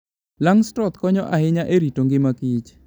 Langstroth konyo ahinya e rito ngima Kich